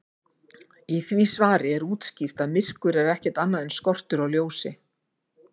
Í því svari er útskýrt að myrkur er ekkert annað en skortur á ljósi.